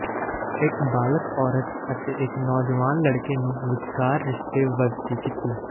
ਇੱਕ ਬਾਲਗ ਔਰਤ ਅਤੇ ਇੱਕ ਨੌਜਵਾਨ ਲੜਕੇ ਨੂੰ ਵਿਚਕਾਰ ਰਿਸ਼ਤੇ ਵਧਦੀ ਕੀਤੀ